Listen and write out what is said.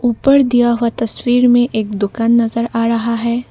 ऊपर दिया हुआ तस्वीर में एक दुकान नजर आ रहा है।